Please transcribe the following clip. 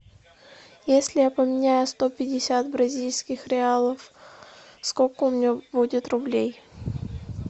если я поменяю сто пятьдесят бразильских реалов сколько у меня будет рублей